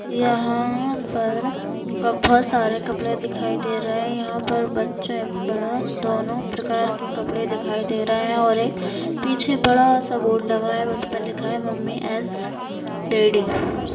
यहाँ पर बहुत सारे कपड़े दिखाई दे रहे है यहाँ पर बच्चे बड़े दोन्हों प्रकार के कपड़े दिखाई दे रहे है और एक पीछे बड़ासा बोर्ड लगा है असपे लिखा है मम्मी एज़ डैडी ।